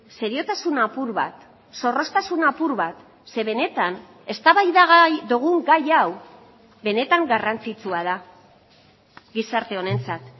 seriotasun apur bat zorroztasun apur bat ze benetan eztabaidagai dugun gai hau benetan garrantzitsua da gizarte honentzat